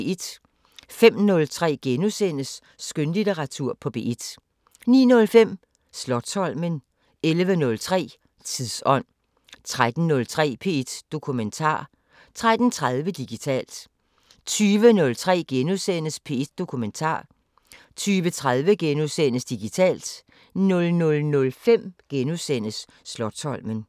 05:03: Skønlitteratur på P1 * 09:05: Slotsholmen 11:03: Tidsånd 13:03: P1 Dokumentar 13:30: Digitalt 20:03: P1 Dokumentar * 20:30: Digitalt * 00:05: Slotsholmen *